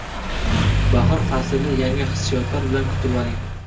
Bahor faslini yangi hissiyotlar bilan kutib oling!